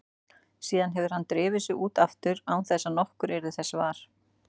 Síðan hefði hann drifið sig út aftur án þess að nokkur yrði þessa var.